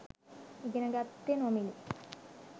ඉගෙන ගත්තෙ නොමිලේ.